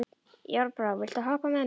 Járnbrá, viltu hoppa með mér?